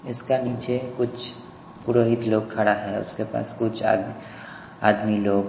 इसका नीचे कुछ पुरोहित लोग खड़ा खड़े है उसके पास कुछ आदमी आदमी लोग --